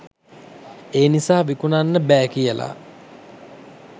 ඒ නිසා විකුණන්න බෑ කියලා.